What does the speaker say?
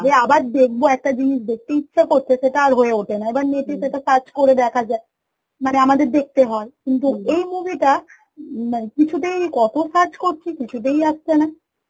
যে আবার দেখব একটা জিনিস দেখতে ইচ্ছা করছে সেটা আর হয়ে ওঠে না, এবার net এ সেটা search করে দেখা যায়, মানে আমাদের দেখতে হয় এই movie টা উম মানে কিছুতেই কত search করছি কিছুতেই আসছে না